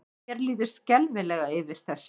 Mér líður skelfilega yfir þessu.